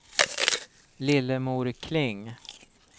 Lillemor Kling